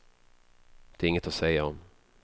Det är inget att säga om.